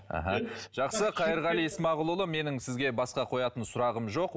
аха жақсы қайырғали исмағұлұлы менің сізге басқа қоятын сұрағым жоқ